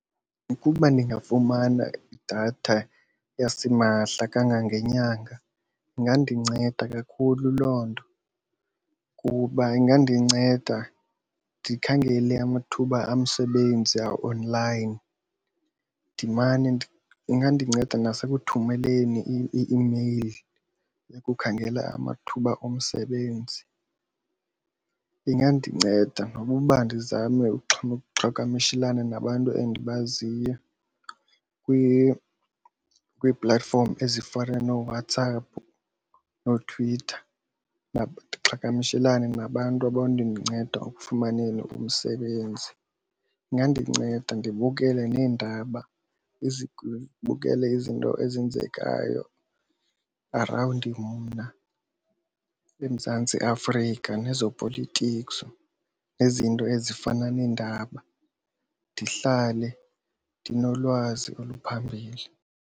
Ukuba ndingafumana idatha yasimahla kangangenyanga ingandinceda kakhulu loo nto kuba ingandinceda ndikhangele amathuba omsebenzi a-online. Ingandinceda nasekuthumeleni ii-imeyili ukukhangela amathuba omsebenzi. Ingandinceda nokuba ndizame ukuqhagamshelana nabantu endibaziyo kuqala kwii-platform ezifana nooWhatsApp nooTwitter ndiqhagamshelane nabantu abanokundinceda ekufumaneni umsebenzi. Ingandinceda ndibukele neendaba ndibukele izinto ezenzekayo around mna eMzantsi Afrika nezopolitiko nezinto ezifana neendaba, ndihlale ndinolwazi oluphambili.